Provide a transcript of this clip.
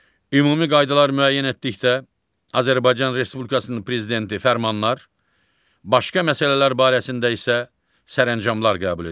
Ümumi qaydalar müəyyən etdikdə Azərbaycan Respublikasının prezidenti fərmanlar, başqa məsələlər barəsində isə sərəncamlar qəbul edir.